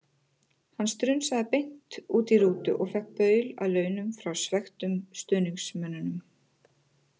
Hann strunsaði beint út í rútu og fékk baul að launum frá svekktum stuðningsmönnunum.